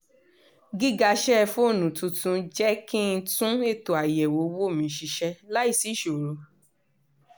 gíga sẹ́ẹ̀fóònù tuntun jẹ́ kí n tún ètò àyẹ̀wò owó mi ṣiṣẹ́ láìsí ìṣòro